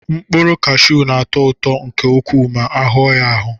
Mkpụrụ kashiu na-atọ ụtọ nke ukwuu ma ahụọ ya ahụọ.